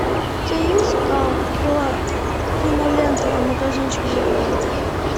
у тебя есть кинолента магазинчик за углом